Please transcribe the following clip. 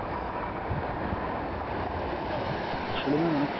অ্যাঁ আসলে ma'am অনেক